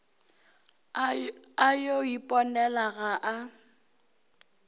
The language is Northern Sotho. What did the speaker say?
a yo iponela ga a